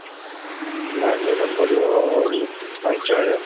Down payment ପଡିବ ଉଁ, ପାଞ୍ଚହଜାର।